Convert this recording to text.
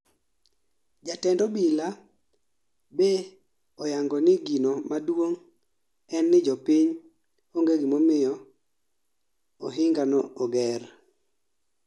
Jatend Obila be oyango ni gino maduong' en ni jopiny ong'e gimomiyo ohinga no oger